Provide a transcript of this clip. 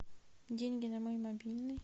деньги на мой мобильный